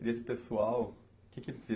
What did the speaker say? E esse pessoal, o que que